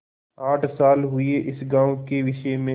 आठ साल हुए इस गॉँव के विषय में